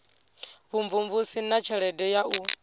vhumvumvusi na tshelede ya u